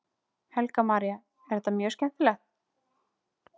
Helga María: Er þetta mjög skemmtileg?